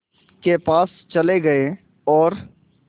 के पास चले गए और